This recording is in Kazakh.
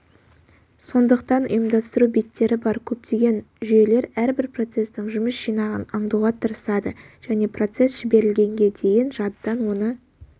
сондықтан ұйымдастыру беттері бар көптеген жүйелер әрбір процестің жұмыс жинағын аңдуға тырысады және процесс жіберілгенге дейін жадыдан оны